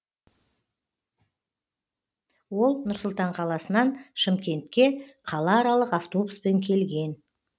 ол нұр сұлтан қаласынан шымкентке қалааралық автобуспен келген